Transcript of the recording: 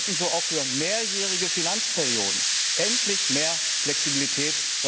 Wir hätten so auch für mehrjährige Finanzperioden endlich mehr Flexibilität.